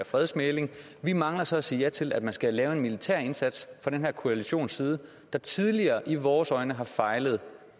fredsmægling vi mangler så at sige ja til at man skal lave en militær indsats fra den her koalitions side der tidligere i vores øjne har fejlet